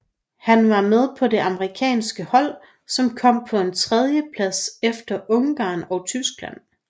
Han var med på det amerikanske hold som kom på en tredjeplads efter Ungarn og Tyskland